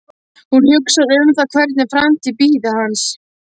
Hún hugsar um það hvernig framtíð bíði hans.